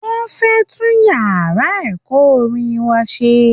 Wọ́n fẹ́ tún yàrá ẹ̀kọ́ orin wa ṣe